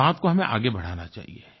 इस बात को हमें आगे बढ़ाना चाहिए